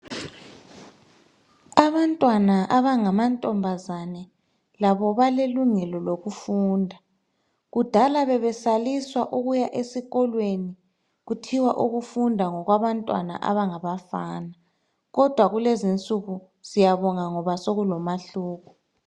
Abantwana abangama ntombazane labo balelungelo lokufunda. Kudala bebesaliswa ukuya esikolweni kuthiwa ukufunda ngokwabantwana abangabafana, kodwa kulezi insuku siyabonga ngoba sokulomahluko.